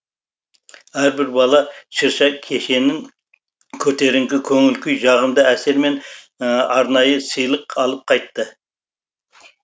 әрбір бала шырша кешенін көтеріңкі көңіл күй жағымды әсер мен арнайы сыйлық алып қайтты